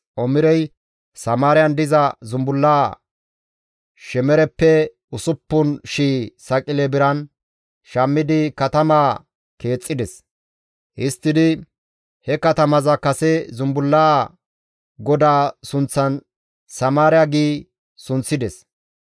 Omirey Samaariyan diza zumbulla Shemereppe 6,000 saqile biran shammidi katama keexxides. Histtidi he katamaza kase zumbullaa godaa sunththan Samaariya giidi sunththides.